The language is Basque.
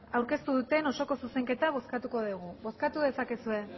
aurkeztu duten osoko zuzenketa bozkatuko dugu bozkatu dezakezue